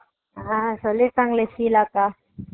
அஹ் என்னை போய் விசாரி விசாரின்னு இருந்தாங்களே